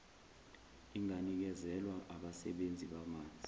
inganikezelwa abasebenzisi bamanzi